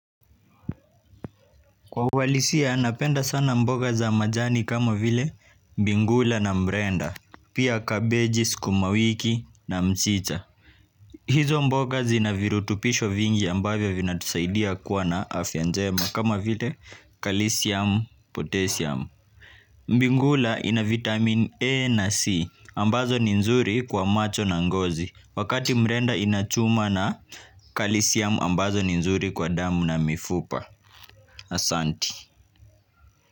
Kwa uhalisia, napenda sana mboga za majani kama vile mbingula na murenda, pia kabeji, sukuma wiki na mchicha. Hizo mboga zina virutubisho vingi ambavyo vinatusaidia kuwa na afya njema kama vile kalisiamu, potesiamu. Mbingulaina vitamini A na C ambazo ni nzuri kwa macho na ngozi wakati mbrenda inachuma na kalisiamu ambazo ninzuri kwa damu na mifupa. Asanti.